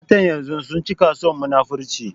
Matan yanzun sun cika son munafurci